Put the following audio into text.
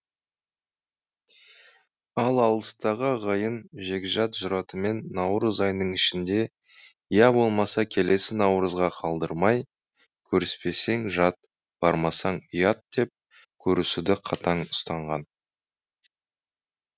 ал алыстағы ағайын жекжат жұратымен наурыз айының ішінде я болмаса келесі наурызға қалдырмай көріспесең жат бармасаң ұят деп көрісуді қатаң ұстанған